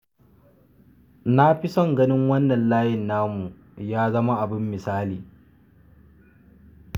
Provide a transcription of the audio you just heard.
Na fi son ganin wannan layin namu ya zama abin misali.